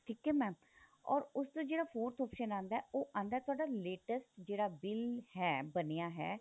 ਠੀਕ ਏ mam or ਉਸ ਦਾ ਜਿਹੜਾ forth option ਆਂਦਾ ਉਹ ਆਂਦਾ ਤੁਹਾਡਾ latest ਜਿਹੜਾ bill ਹੈ ਬਣਿਆ ਹੈ